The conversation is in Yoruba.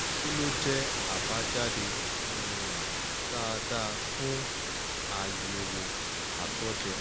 kí ló jẹ abajade um daadaa fun ayewo ato je?